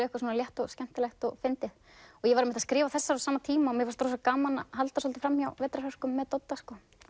eitthvað létt skemmtilegt og fyndið ég var einmitt að skrifa þessar á sama tíma og fannst gaman að halda svolítið framhjá vetrarhörkum með Dodda